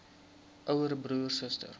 ouer broer suster